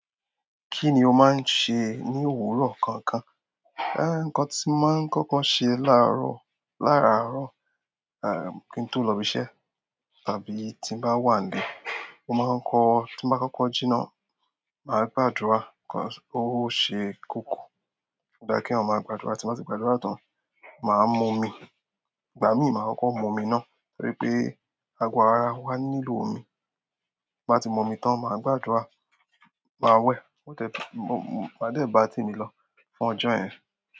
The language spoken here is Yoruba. Kí ni o máa ń ṣe ní òwúrọ̀ kọ̀ọ̀kan? Ǹkan tí mo máa ń kọ́kọ́ ṣe láàárọ̀, láàárọ̀, à, kí n tó lọ ibi iṣẹ́ tàbí tí n bá wà n lé, mo máa ń kọ-- tí mo bá kọ́kọ́ jína, màá gbàdúrà kí Òóṣè kòkò. Ò dá kí eeyan máa gbàdúrà, tí n bá ti gbàdúrà tán, màá mú omi. Ìgbà míì, màá kọ́kọ́ mú omi náà torí pé ago ára wà nílò omi. Mo bá ti mú omi tán, màá gbàdúrà, màá wẹ̀, máa dẹ̀ bá temi lọ fún ọjọ́ yen.